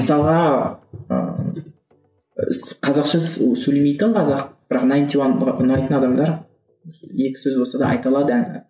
мысалға ы қазақша сөйлемейтін қазақ бірақ найнти уан ұнайтын адамдар екі сөз болса да айта алады әнін